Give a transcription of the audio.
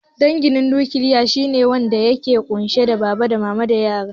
Dangin nukiliya shine wanda yake ƙunshe da baba, mama da yara